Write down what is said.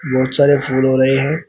बहुत सारे फूल हो रहे हैं।